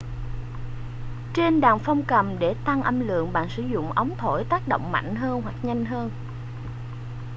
trên đàn phong cầm để tăng âm lượng bạn sử dụng ống thổi tác động mạnh hơn hoặc nhanh hơn